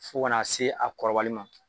Fo ka n'a se a kɔrɔbali ma.